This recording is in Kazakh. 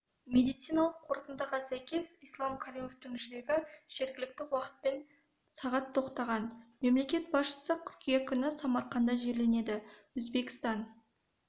медициналық қортындыға сәйкес ислам каримовтың жүрегі жергілікті уақытпен сағат тоқтаған мемлекет басшысы қыркүйек күні самарқанда жерленеді өзбекстан